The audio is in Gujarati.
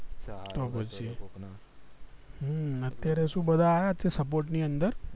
હમ અત્યારે સુ છે બધા અયાજ છે બધા support ની અંદર